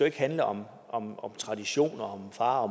ikke handle om traditioner og om far og